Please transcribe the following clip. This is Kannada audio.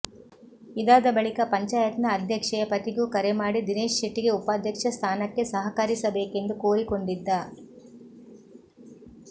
ಇದಾದ ಬಳಿಕ ಪಂಚಾಯತ್ನ ಅಧ್ಯಕ್ಷೆಯ ಪತಿಗೂ ಕರೆ ಮಾಡಿ ದಿನೇಶ್ ಶೆಟ್ಟಿಗೆ ಉಪಾಧ್ಯಕ್ಷ ಸ್ಥಾನಕ್ಕೆ ಸಹಕರಿಸಬೇಕೆಂದು ಕೋರಿಕೊಂಡಿದ್ದ